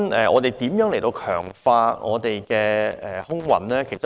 我們如何強化我們的空運服務呢？